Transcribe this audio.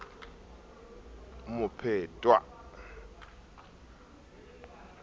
mophetwa enwa o ne a